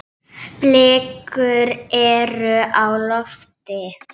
Blikur eru á lofti.